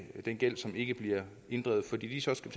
den gæld som ikke bliver inddrevet fordi vi så skal